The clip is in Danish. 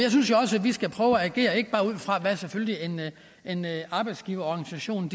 synes jo også at vi skal prøve at agere ikke bare ud fra hvad en arbejdsgiverorganisation